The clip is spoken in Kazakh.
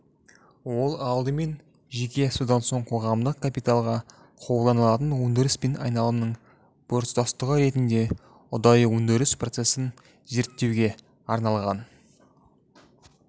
ол алдымен жеке содан соң қоғамдық капиталға қолданылатын өндіріс пен айналымның біртұтастығы ретінде ұдайы өндіріс процесін зерттеуге арналған